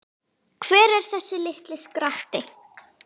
Hver er þessi litli skratti?